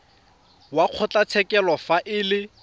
wa kgotlatshekelo fa e le